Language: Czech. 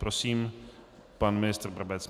Prosím, pan ministr Brabec.